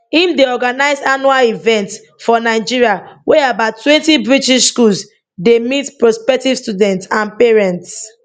im dey organise annual events for nigeria wia abouttwentybritish schools dey meet prospective students and parents